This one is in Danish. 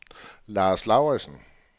Lars Lauridsen